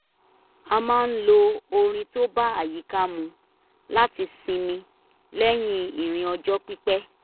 a máa ń lo orin tó bá àyíká mu láti sinmi lẹ́yìn ìrìn ọjọ́ pipẹ́